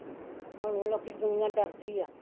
ਹੁਣ ਲੋਕੀ ਦੁਨੀਆ ਡਰਦੀ ਹੈ